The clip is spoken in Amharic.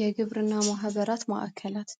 የግብር እና ማህበራት ማዕከላት